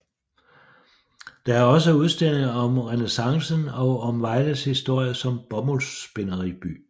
Der er også udstillinger om renæssancen og om Vejles historie som bomuldsspinderiby